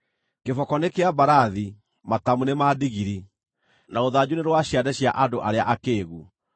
Kĩboko nĩ kĩa mbarathi, matamu nĩ ma ndigiri, na rũthanju nĩ rwa ciande cia andũ arĩa akĩĩgu!